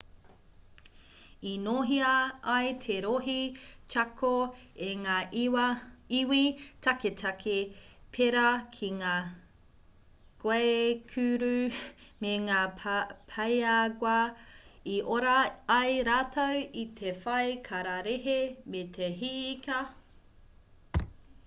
i nōhia ai te rohe chaco e ngā iwi taketake pērā ki ngā guaycur'u me ngā payagu'a i ora ai rātou i te whai kararehe me te hī ika